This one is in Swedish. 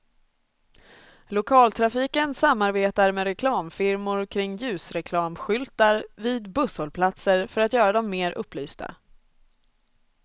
Lokaltrafiken samarbetar med reklamfirmor kring ljusreklamskyltar vid busshållplatser för att göra dem mer upplysta.